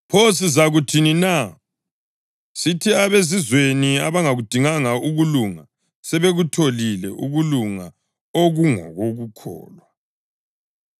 Pho sizakuthini na? Sithi abeZizweni abangakudinganga ukulunga, sebekutholile, ukulunga okungokukholwa;